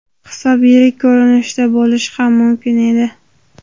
Hisob yirik ko‘rinishda bo‘lishi ham mumkin edi.